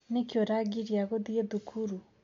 Nĩkĩ ũrangiria gũthie thukuru.